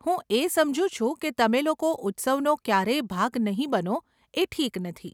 હું એ સમજુ છુ કે તમે લોકો ઉત્સવનો ક્યારેય ભાગ નહીં બનો એ ઠીક નથી.